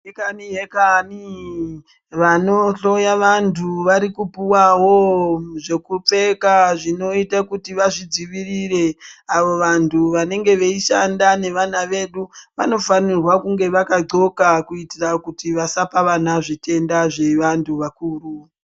Hekani hekani, vanohloya vantu varikupuwawo zvokupfeka zvinoita kuti vazvidzivirire. Avo vantu vanenge veishanda nevana vedu vanofanirwa kunge vakadxoka kuititra kuti vasapa vana zvitenda zvevantu vakuru